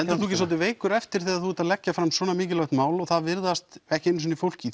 ekki svolítið veikur eftir þegar þú ert að leggja fram svona mikilvægt mál og það virðast ekki einu sinni fólk í